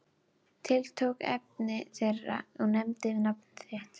Tiltók efni þeirra og nefndi nafn þitt.